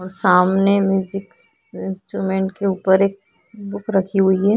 और सामने music instrument के ऊपर एक बुक रखी हुई है।